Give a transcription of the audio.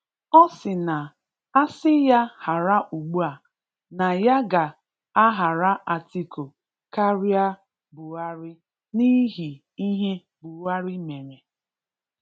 Ọ sị na asị ya hara ugbua, na ya ga ahara Atiku karịa Buhari n'ihi ihe Buhari mere.